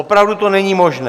Opravdu to není možné!